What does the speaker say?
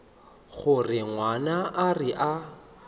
gore ngwana a re a